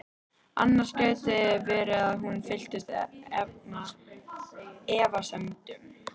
Annars gæti verið að hún fylltist efasemdum.